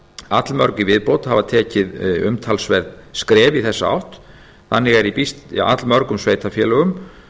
allmörg í viðbót hafa tekið umtalsverð skref í þessa átt þannig er í allmörgum sveitarfélögum